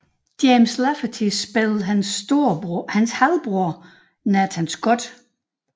James Lafferty spillede hans halvbror Nathan Scott